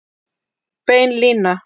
Bein lína